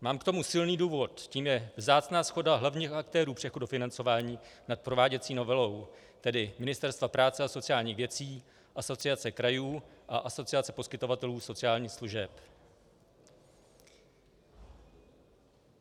Mám k tomu silný důvod - tím je vzácná shoda hlavních aktérů přechodu financování nad prováděcí novelou, tedy Ministerstva práce a sociálních věcí, Asociace krajů a Asociace poskytovatelů sociálních služeb.